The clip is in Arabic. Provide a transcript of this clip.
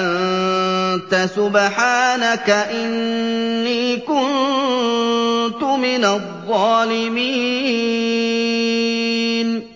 أَنتَ سُبْحَانَكَ إِنِّي كُنتُ مِنَ الظَّالِمِينَ